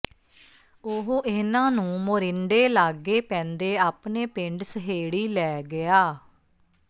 ਉਹ ਇਨ੍ਹਾਂ ਨੂੰ ਮੋਰਿੰਡੇ ਲਾਗੇ ਪੈਂਦੇ ਆਪਣੇ ਪਿੰਡ ਸਹੇੜੀ ਲੈ ਗਿਆ